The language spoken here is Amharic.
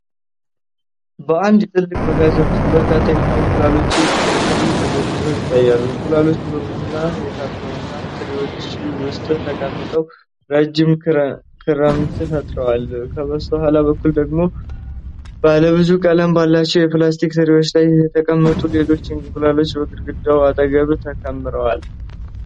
በአንድ ትልቅ መጋዘን ውስጥ በርካታ የዶሮ እንቁላሎች በትሪ ተደርድረው ይታያሉ። እንቁላሎቹ በቡናማ የካርቶን ትሪዎች ውስጥ ተቀምጠው ረጅም ክምር ፈጥረዋል። ከበስተኋላ በኩል ደግሞ ባለ ብዙ ቀለም ባላቸው የፕላስቲክ ትሪዎች ላይ የተቀመጡ ሌሎች እንቁላሎች በግድግዳው አጠገብ ተከምረዋል።